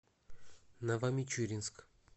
новомичуринск